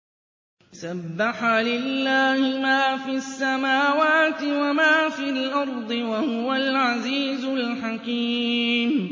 سَبَّحَ لِلَّهِ مَا فِي السَّمَاوَاتِ وَمَا فِي الْأَرْضِ ۖ وَهُوَ الْعَزِيزُ الْحَكِيمُ